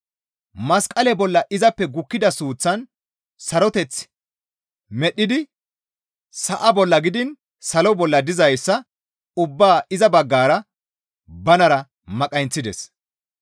Masqale bolla izappe gukkida suuththaan saroteth medhdhidi sa7a bolla gidiin salo bolla dizayssa ubbaa iza baggara banara maqayinththides.